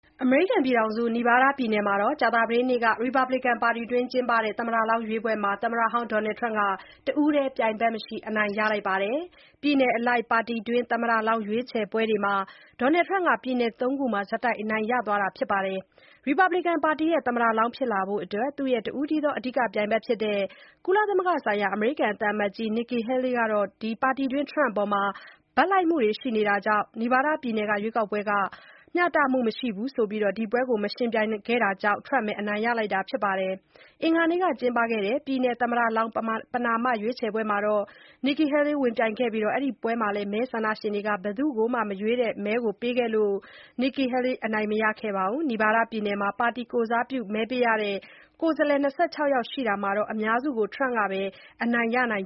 အမေရိကန်ပြည်ထောင်စု Nevada ပြည်နယ်မှာ ကြာသပတေးနေ့က ရီပတ်ဘလစ်ကန် ပါတီတွင်း ကျင်းပတဲ့ caucus သမ္မတလောင်းရွေးပွဲမှာ သမ္မတဟောင်း Donald Trump က တဦးတည်း ပြိုင်ဘက်မရှိ အနိုင်ရလိုက်ပါတယ်။ ပြည်နယ်အလိုက် ပါတီတွင်း သမ္မတလောင်း ရွေးချယ်ပွဲတွေမှာ Trump က ပြည်နယ် ၃ ခုမှာ ဆက်တိုက် အနိုင်ရ သွားတာပါ။ ရီပတ်ဘလစ်ကန်ပါတီရဲ့ သမ္မတလောင်း ဖြစ်လာဖို့အတွက် သူရဲ့ တဦးတည်းသော အဓိက ပြိုင်ဘက်ဖြစ်တဲ့ ကုလသမဂ္ဂဆိုင်ရာ အမေရိကန် သံအမတ်ကြီးဟောင်း Nikki Haley က ပါတီတွင်းTrump အပေါ် ဘက်လိုက်မှုတွေ ရှိနေတာကြောင့် Nevada ပြည်နယ် caucus ဟာ မျှတမှုမရှိဘူးလို့ ဆိုပြီး ဒီပွဲမှာ ဝင်မပြိုင်ခဲ့တာကြောင့် Trump ပဲ အနိုင်ရလိုက်တာပါ။ အင်္ဂါနေ့က ကျင်းပခဲ့တဲ့ ပြည်နယ် သမ္မတလောင်း ပဏာမ ရွေးချယ်ပွဲမှာ Nikki Haley ဝင်ပြိုင်ခဲ့ပြီး အဲ့ဒီပွဲမှာလည်း မဲဆန္ဒရှင်တွေက ဘယ်သူ့ကိုမှ မရွေးတဲ့ မဲကို ပေးခဲ့လို့ Nikki Haley အနိုင်မရခဲ့ပါဘူး။ နီဗားဒါး ပြည်နယ်မှာ ပါတီကိုယ်စားပြု မဲပေးရတဲ့ ကိုယ်စားလှယ် ၂၆ ယောက်ရှိတာမှာ အများစုကို Trump ကပဲ အနိုင်ရနိုင်